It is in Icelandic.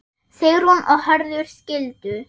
Sigrún og Hörður skildu.